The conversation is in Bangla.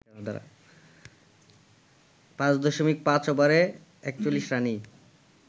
৫.৫ ওভারে ৪১ রানেই